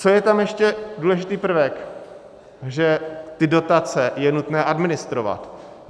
Co je tam ještě důležitý prvek, že ty dotace je nutné administrovat.